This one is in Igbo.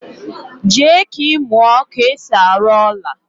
jee ka imuo ka esi aru ola